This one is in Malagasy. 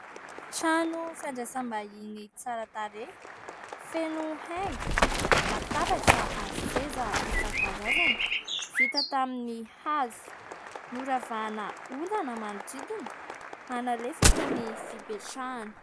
Trano fandraisam-bahiny tsara tarehy, feno haingo, latabatra ary seza isankarazany vita tamin'ny hazo. Noravahana ondana manodidina hanalefaka ny fipetrahana.